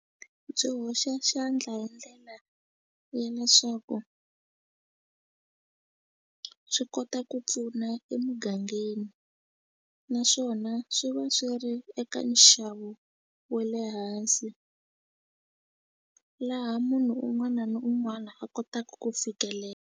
Byi hoxa xandla hi ndlela ya leswaku swi kota ku pfuna emugangeni naswona swi va swi ri eka nxavo we le hansi laha munhu un'wana ni un'wana a kotaku ku .